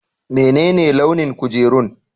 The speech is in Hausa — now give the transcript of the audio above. Menene launin kujerun?